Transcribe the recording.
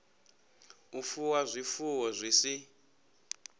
u fuwa zwifuwo zwi si